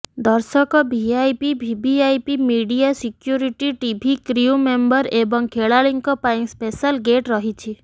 ଦର୍ଶକ VIP VVIP media security TV crew member ଏବଂ ଖେଳାଳିଙ୍କ ପାଇ ସ୍ପେଶାଲ ଗେଟ ରହିଛି